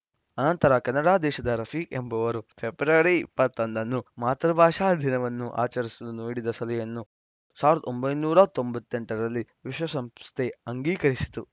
ಆನಂತರ ಕೆನಡಾ ದೇಶದ ರಫೀಕ್‌ ಎಂಬವರು ಫೆಬ್ರವರಿ ಇಪ್ಪತ್ತ್ ಒಂದು ಅನ್ನು ಮಾತೃಭಾಷಾ ದಿನವನ್ನು ಆಚರಿಸಲು ನೀಡಿದ ಸಲಹೆಯನ್ನು ಸಾವಿರದ ಒಂಬೈನೂರ ತೊಂಬತ್ತ್ ಎಂಟರಲ್ಲಿ ವಿಶ್ವಸಂಸ್ಥೆ ಅಂಗೀಕರಿಸಿತು